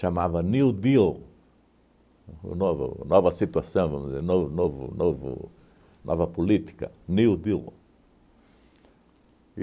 New Deal, o novo nova situação, vamos dizer, novo novo novo nova política, New Deal.